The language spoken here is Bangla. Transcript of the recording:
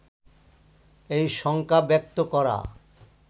এই শঙ্কা ব্যক্ত করা